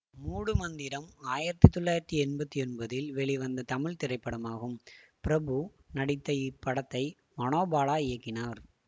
மூடு மந்திரம் ஆயிரத்தி தொள்ளாயிரத்தி எம்பத்தி ஒன்பதில் வெளிவந்த தமிழ் திரைப்படமாகும் பிரபு நடித்த இப்படத்தை மனோபாலா இயக்கினார்